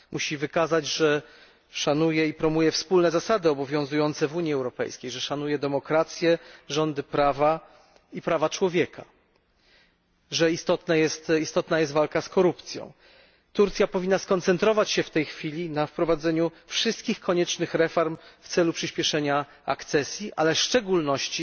Musi wykazać, że szanuje i promuje wspólne zasady obowiązujące w Unii Europejskiej, że szanuje demokrację, rządy prawa i prawa człowieka, że istotna jest walka z korupcją. Turcja powinna skoncentrować się w tej chwili na wprowadzeniu wszystkich koniecznych reform w celu przyspieszenie akcesji, ale w szczególności